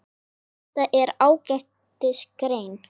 Þetta er ágætis grein.